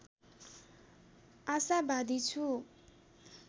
आशावादी छु